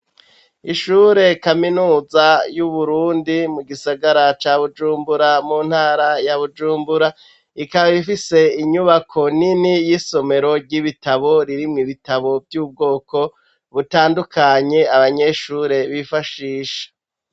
Ishure kaminuza y'Uburundi, mu gisagara ca Bujumbura, mu ntara ya Bujumbura; ikaba ifise inyubako nini, y'isomero ry'ibitabo, ririmwo ibitabo vy'ubwoko butandukanye, abanyeshure bifashisha.